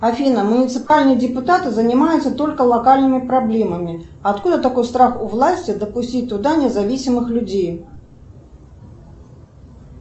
афина муниципальные депутаты занимаются только локальными проблемами откуда такой страх у власти допустить туда независимых людей